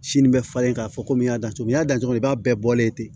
Sini bɛ falen ka fɔ ko n y'a da cogo min n y'a da cogo min i b'a bɛɛ bɔ yen ten